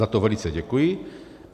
Za to velice děkuji.